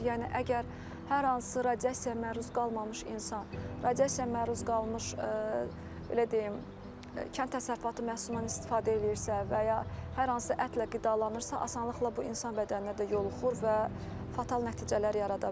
Yəni əgər hər hansı radiasiyaya məruz qalmamış insan radiasiyaya məruz qalmış belə deyim, kənd təsərrüfatı məhsulundan istifadə eləyirsə və ya hər hansı ətlə qidalanırsa, asanlıqla bu insan bədəninə də yoluxur və fatal nəticələr yarada bilər.